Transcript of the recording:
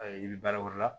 i bɛ baara wɛrɛ la